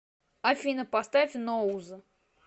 афина поставь ноуз